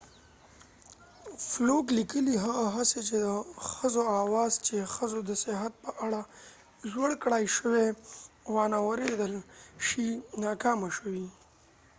فلوک لیکلي هغه هڅې چې د ښځو آواز چې ښځو د صحت په اړه لوړ کړای شوی وانه وریدل شي ناکامه شوې